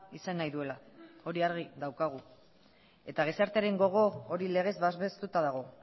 izan nahi duela hori argi daukagu eta gizartearen gogo hori legez babestuta dago